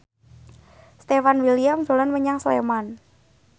Stefan William dolan menyang Sleman